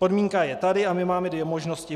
Podmínka je tady a my máme dvě možnosti.